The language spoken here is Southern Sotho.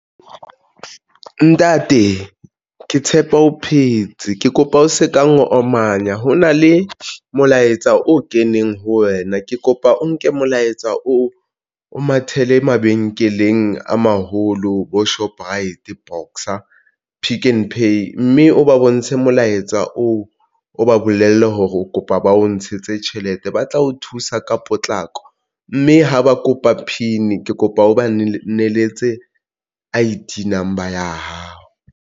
Ntate ke tshepa o phetse ke kopa o se ka omanya. Ho na le molaetsa o keneng ho wena, ke kopa o nke molaetsa o o mathele mabenkeleng a maholo bo Shoprite. Box a, Pick n Pay mme o ba bontshe molaetsa oo, o ba bolelle hore o kopa ba o ntshetse tjhelete, ba tla o thusa ka potlako mme ha ba kopa PIN ke kopa o ba neletse I_D number ya hao.